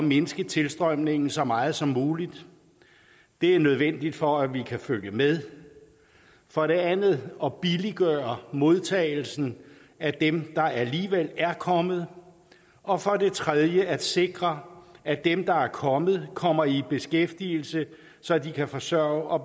mindske tilstrømningen så meget som muligt det er nødvendigt for at vi kan følge med for det andet at billiggøre modtagelsen af dem der alligevel er kommet og for det tredje at sikre at dem der er kommet kommer i beskæftigelse så de kan forsørge og